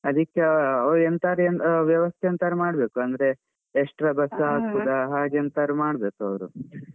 ಅದಕ್ಕೆ ಅವರು ಎಂತಾದ್ರೂ ವ್ಯವಸ್ಥೆ ಎಂತಾದ್ರೂ ಮಾಡ್ಬೇಕು ಅಂದ್ರೆ extra bus ಹಾಕೂದಾ ಹಾಗೆಂತಾದ್ರು ಮಾಡ್ಬೇಕವರು.